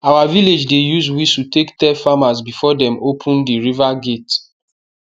our village dey use whistle take tell farmers before dem open di river gate